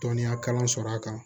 Dɔnniya kalan sɔrɔ a kan